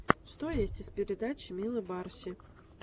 что есть из передач милы барси